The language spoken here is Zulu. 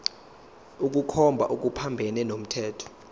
ukukhomba okuphambene nomthetho